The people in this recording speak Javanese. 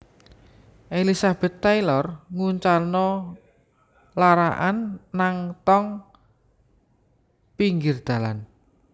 Elizabeth Taylor nguncalno lara'an nang tong pinggir dalan